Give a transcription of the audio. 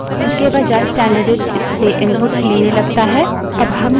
अब हम स्टैन्डर्डइन को file test1 dot टीएक्सटी में निर्देशित करते हैं